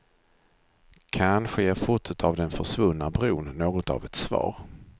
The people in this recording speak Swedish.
Kanske ger fotot av den försvunna bron något av ett svar.